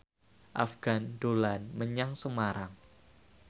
Afgan dolan menyang Semarang